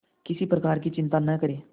किसी प्रकार की चिंता न करें